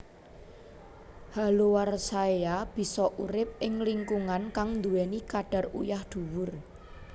Haloarchaea bisa urip ing lingkungan kang duweni kadar uyah dhuwur